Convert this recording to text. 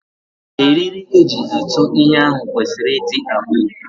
Eriri eji atụ ihe ahụ kwesịrị ịdị abụọ.